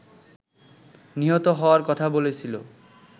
নিহত হওয়ার কথা বলেছিল